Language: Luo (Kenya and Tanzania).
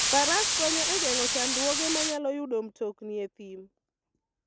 Faras konyo e geng'o chandruoge manyalo yudo mtokni e thim.